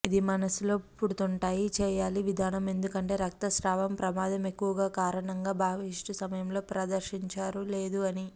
ఇది మనస్సులో పుడుతుంటాయి చేయాలి విధానం ఎందుకంటే రక్తస్రావం ప్రమాదం ఎక్కువగా కారణంగా బహిష్టు సమయంలో ప్రదర్శించారు లేదు అని